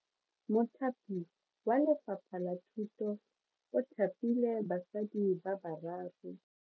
Mothapi wa Lefapha la Thuto o thapile basadi ba ba raro.